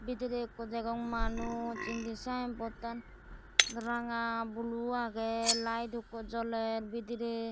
bidire ekko degong manuj indi sign board an ranga blue aage light ekko joler bidire.